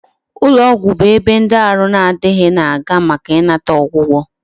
Ulo ogwu bu ebe ndi Aru na adighi, na aga maka inata ogwugo